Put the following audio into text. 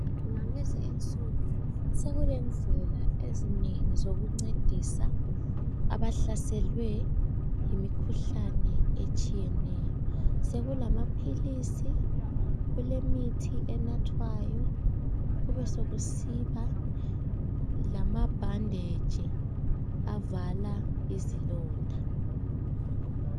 Ngalezi insuku so kulendlela ezinengi zokuncedisa abahlaselwe yimikhuhlane etshiyeneyo, kulamaphilisi, kule mithi enathwayo beswkusiba lamabhanditshi avala izilonda.